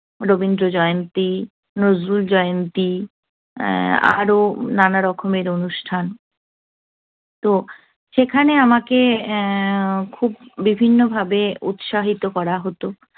রবীন্দ্র জয়ন্তী, নজরুল জয়ন্তী আরও নানারকমের অনুষ্ঠান তো সেখানে আমাকে উহ খুব বিভিন্নভাবে উৎসাহিত করা হত।